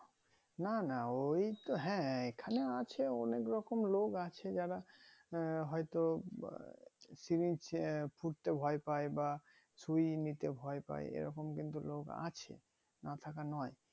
না না ওইতো হ্যাঁ এখানে আছে অনেক রকম লোক আছে যারা আহ হয়তো syring ফুঁড়তে ভয় পাই বা সুই নিতে ভয় পাই এরকম কিন্তু লোক আছে না থাকা নয়